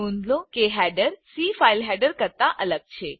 નોંધ લો કે હેડર સી ફાઈલ હેડર કરતા અલગ છે